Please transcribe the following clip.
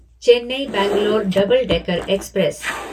Chennai Bangalore double decker express